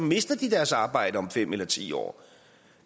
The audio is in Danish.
mister deres arbejde om fem eller ti år